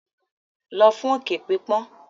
Lọ fún òkè pípọ́n.